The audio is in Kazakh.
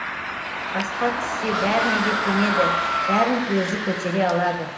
басқа түссе бәріне де көнеді бәрін өзі көтере алады